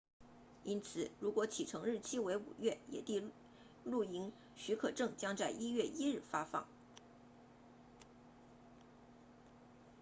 因此如果启程日期为5月野地露营许可证将在1月1日发放